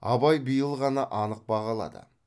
абай биыл ғана анық бағалады